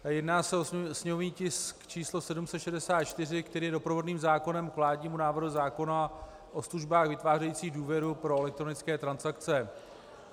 Jedná se o sněmovní tisk číslo 764, který je doprovodným zákonem k vládnímu návrhu zákona o službách vytvářejících důvěru pro elektronické transakce.